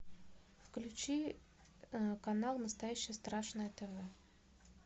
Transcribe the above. включи канал настоящее страшное тв